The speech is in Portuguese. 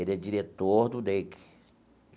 Ele é diretor do DEIC.